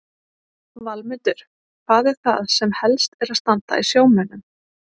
Valmundur, hvað er það sem helst er að standa í sjómönnum?